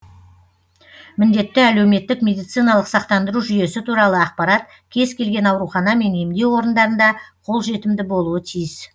міндетті әлеуметтік медициналық сақтандыру жүйесі туралы ақпарат кез келген аурухана мен емдеу орындарында қолжетімді болуы тиіс